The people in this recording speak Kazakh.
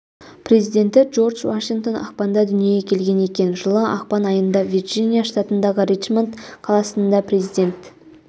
президенті джордж вашингтон ақпанда дүниеге келген екен жылы ақпан айында вирджиния штатындағы ричмонд қаласында президент